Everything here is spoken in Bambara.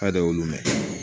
K'a de y'olu mɛn